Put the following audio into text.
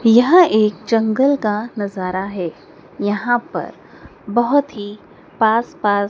यह एक जंगल का नजारा है यहां पर बहुत ही पास पास--